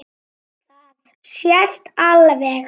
Það sést alveg.